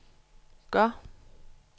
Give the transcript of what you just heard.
gør